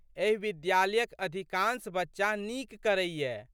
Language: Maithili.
एहि विद्यालयक अधिकांश बच्चा नीक करैए।